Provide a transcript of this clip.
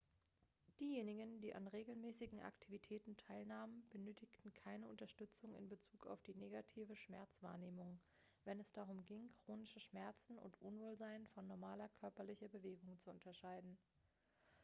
diejenigen die an regelmäßigen aktivitäten teilnahmen benötigten mehr unterstützung in bezug auf die negative schmerzwahrnehmung wenn es darum ging chronische schmerzen und unwohlsein von normaler körperlicher bewegung zu unterscheiden